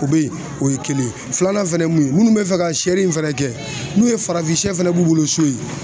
O be yen o ye kelen ye filanan fɛnɛ mun ye minnu be fɛ ka sɛ in fɛnɛ kɛ n'u ye farafin sɛ fɛnɛ b'u bolo so yen